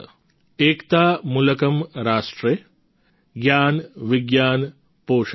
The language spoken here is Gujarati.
એકતા મૂલકમ્ રાષ્ટ્રે જ્ઞાન વિજ્ઞાન પોષકમ્